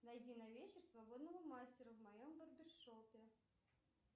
найди на вечер свободного мастера в моем барбершопе